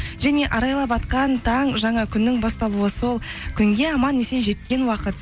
және арайлап атқан таң жаңа күннің басталуы сол күнге аман есен жеткен уақыт